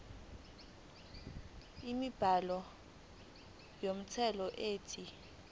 inombolo yomthelo ethi